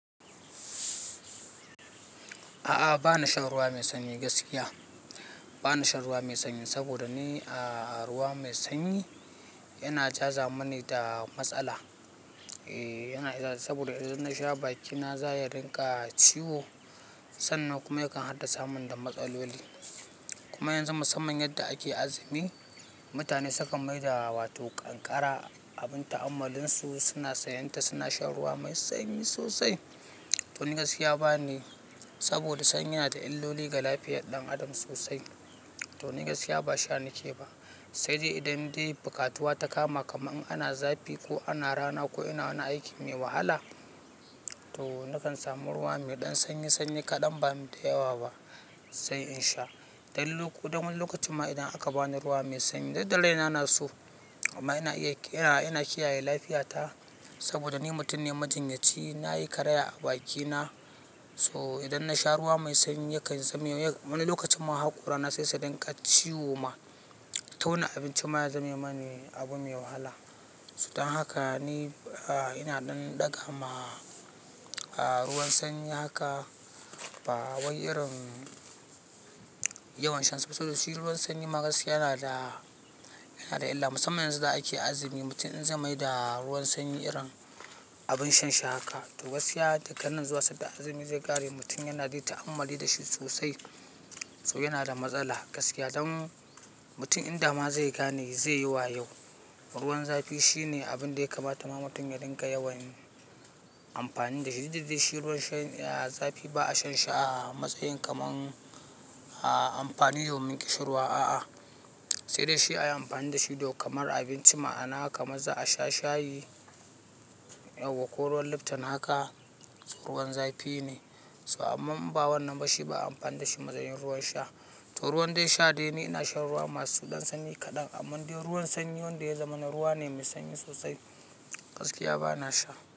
A'a, bana shan ruwa mai sanyi gaskiya. Bana shan ruwa mai sanyi saboda ni ruwa mai sanyi yana jaza mini da matsala. Yana jaza saboda idan na sha bakina za ya rinƙa ciwo sannan kuma yakan haddasa min da matsaloli. Kuma yanzu musamman yadda ake azumi mutane sukan mai da wato kankara abin ta'ammalinsu suna sanyanta suna shan ruwa mai sanyi sosai. To ni gaskiya ba nayi saboda sanyi yana da illoli ga lafiyar ɗan adam sosai. To ni gaskiya ba sha nake ba. Sai dai idan dai bukatuwa ta kama kamar in ana zafi ko ana rana ko ina wani aiki mai wahala to nakan samu ruwa mai ɗan sanyi sanyi kaɗan bamai da yawa ba sai in sha. Dan wani lokacin ma idan aka bani ruwa mai sanyi duk da raina na so amma ina kiyaye lafiyata saboda ni mutum ne majinyaci. Na yi karaya a bakina so idan na sha ruwa mai sanyi yakan zame wani lokacin ma hako rana saisu rinƙa ciwo ma. Tauna abinci ma ya zame mani abu mai wahala. Dan haka ni ina ɗan ɗaga ma ruwan sanyi haka ba wai irin yawan shan sa saboda shi ruwan sanyi gaskiya yana da illa. Musamman yanzu da ake azumi mutum in zai mai da ruwan sanyi irin abin shan shi haka to gaskiya daganan zuwa sanda azumi zai ƙare mutum yana dai ta'ammali da shi sosai. To yana da matsala gaskiya. Don mutum in dama zai gane zai yi wa yau. Ruwan zafi shine abin da ya kamata ma mutum ya rinƙa yawan amfani da shi. Dukda dai shi ruwan zafi ba a shan shi a matsayin kamar amfani domin ƙishin ruwa a'a. Sai dai shi ayi amfani da shi domin kamar abinci ma'ana kamar za a sha shayi ko ruwan lipton haka ruwan zafi ne. To amman in ba wannan ba shi ba a amfani da shi matsayin ruwan sha. To ruwan dai sha dai ni ina shan ruwa masu ɗan sanyi kaɗan amma dai ruwan sanyi wanda ya zama ruwa ne mai sanyi sosai gaskiya ba na sha.